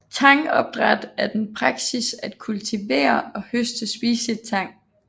Tangopdræt er den praksis at kultivere og høste spiseligt tang